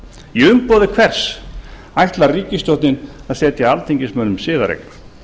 í umboði hvers ætlar ríkisstjórnin að setja alþingismönnum siðareglur